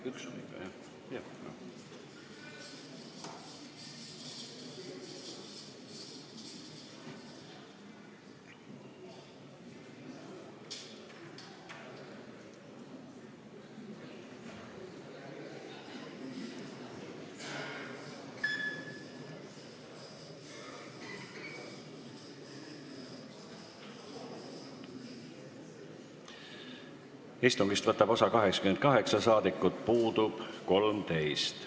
Kohaloleku kontroll Istungist võtab osa 88 saadikut, puudub 13.